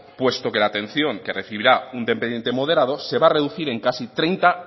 puesto que la atención que recibirá un dependiente moderado se va a recudir en casi treinta